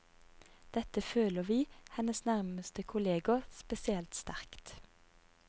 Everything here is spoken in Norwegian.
Dette føler vi, hennes nærmeste kolleger, spesielt sterkt.